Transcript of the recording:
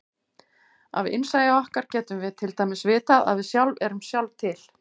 Af innsæi okkar getum við til dæmis vitað að við sjálf erum sjálf til.